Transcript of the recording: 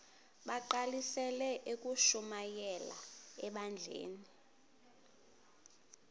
bagqalisele ukushumayela ebandleni